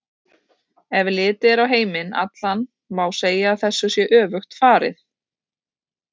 Ef litið er á heiminn allan má segja að þessu sé öfugt farið.